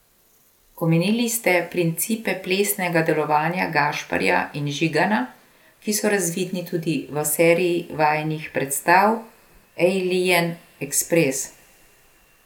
Omenili ste principe plesnega delovanja Gašperja in Žigana, ki so razvidni tudi v seriji vajinih predstav Ejlijen ekspres.